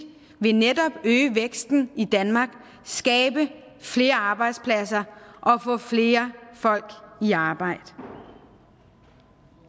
vil netop øge væksten i danmark skabe flere arbejdspladser og få flere folk i arbejde